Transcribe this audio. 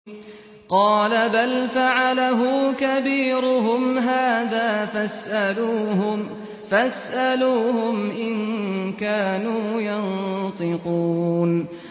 قَالَ بَلْ فَعَلَهُ كَبِيرُهُمْ هَٰذَا فَاسْأَلُوهُمْ إِن كَانُوا يَنطِقُونَ